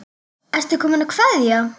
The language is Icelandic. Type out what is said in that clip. Ertu kominn að kveðja?